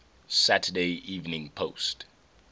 saturday evening post